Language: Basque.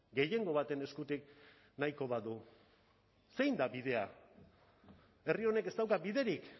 gehiengo baten eskutik nahiko badu zein da bidea herri honek ez dauka biderik